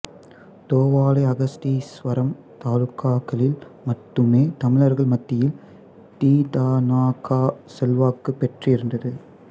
தோவாளை அகஸ்தீஸ்வரம் தாலுக்காக்களில் மட்டுமே தமிழர்கள் மத்தியில் தி த நா கா செல்வாக்கு பெற்றிருந்தது